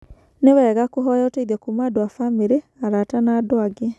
Nĩ wega kũhoya ũteithio kuuma andũ a bamirĩ, arata na andũ angĩ.